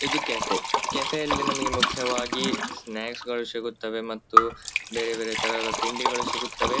ಇದು ಕೆಫೆ ಕೆಫೆಯಲ್ಲಿ ನಮಗೆ ಮುಖ್ಯವಾಗಿ ಸ್ನಾಕ್ಸ್ಗಳು ಸಿಗುತ್ತವೆ ಮತ್ತು ಬೇರೆ ಬೇರೆ ತರಹದ ತಿಂಡಿಗಳು ಸಿಗುತ್ತ್ವ್.